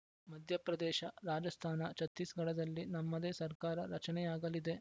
ಮಧ್ಯಪ್ರದೇಶ ರಾಜಸ್ಥಾನ ಛತ್ತೀಸ್‌ಗಢದಲ್ಲಿ ನಮ್ಮದೇ ಸರ್ಕಾರ ರಚನೆಯಾಗಲಿದೆ